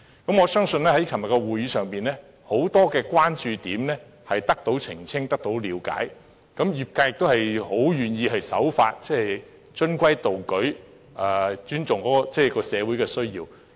我相信在昨天的會議上，很多關注點已得到澄清及了解，業界亦很願意守法，循規蹈矩，尊重社會的需要。